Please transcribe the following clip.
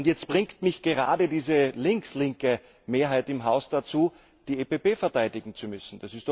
Jetzt bringt mich gerade diese links linke Mehrheit im Haus dazu, die EPP verteidigen zu müssen.